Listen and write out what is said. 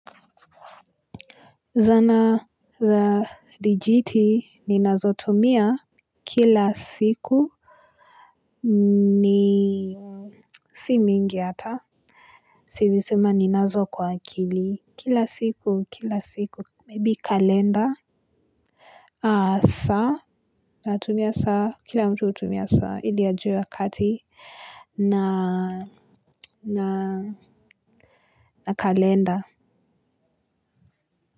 Zana za dijiti ninazotumia kila siku ni si mingi hata siwezi sema ninazo kwa akili kila siku kila siku maybe kalenda aa saa natumia saa kila mtu hutumia saa ili ajue wakati na na na kalenda.